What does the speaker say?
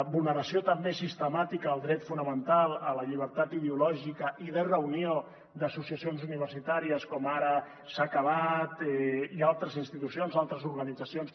vulneració també sistemàtica del dret fonamental a la llibertat ideològica i de reunió d’associacions universitàries com ara s’ha acabat i altres institucions altres organitzacions